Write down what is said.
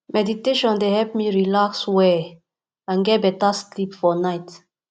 meditation dey help me relax well and get beta sleep for night